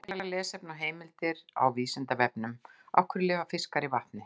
Frekara lesefni og heimildir á Vísindavefnum: Af hverju lifa fiskar í vatni?